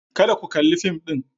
Kada ku kalli fim din.